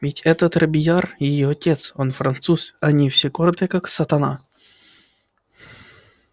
ведь этот робийяр её отец он француз а они все гордые как сатана